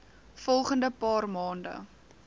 volgende paar maande